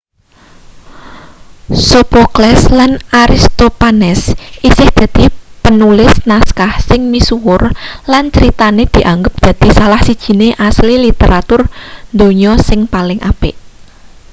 sophocles lan aristophanes isih dadi penulis naskah sing misuwur lan critane dianggep dadi salah sijine asil literatur donya sing paling apik